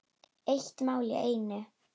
Eitt mál í einu.